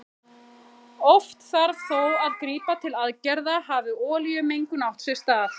Oft þarf þó að grípa til aðgerða hafi olíumengun átt sér stað.